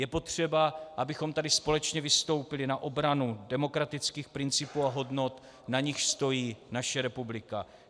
Je potřeba, abychom tady společně vystoupili na obranu demokratických principů a hodnot, na nichž stojí naše republika.